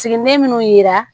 Siginiden minnu yira